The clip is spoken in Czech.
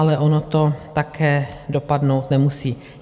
Ale ono to také dopadnout nemusí.